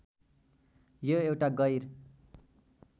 यो एउटा गैर